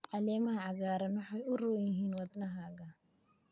caleemaha cagaaran waxay u roon yihiin wadnahaaga